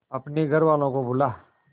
अपने घर वालों को बुला